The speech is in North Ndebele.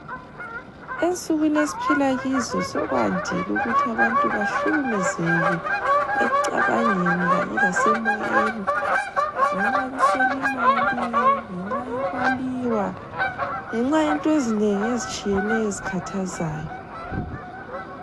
Ensukwini esiphila kizo sokwandile ukuthi abantu bahlukumezeke ekucabangeni kanye lasemoyeni ngenxa yokuswela imali, ngenxa yokwaliwa, ngenxa yento ezinengi ezitshiyeneyo ezikhathazayo.